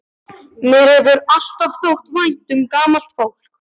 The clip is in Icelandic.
Mér hefur alltaf þótt vænt um gamalt fólk.